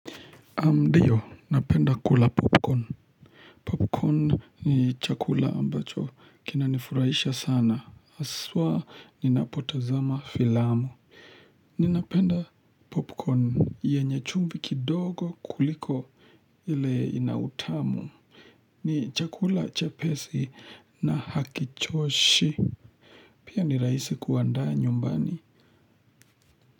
Naam ndiyo, napenda kula popcorn. Popcorn ni chakula ambacho. Kina nifurahisha sana. Haswa ninapotazama filamu. Ninapenda popcorn. Yenys chumbi kidogo kuliko ile ina utamu. Ni chakula chapesi na hakichoshi. Pia ni raisi kuqandaa nyumbani.